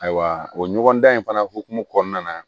Ayiwa o ɲɔgɔndan in fana hokumu kɔnɔna na